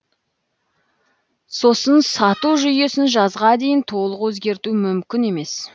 сосын сату жүйесін жазға дейін толық өзгерту мүмкін емес